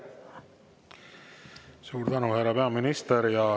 Suur tänu, härra peaminister!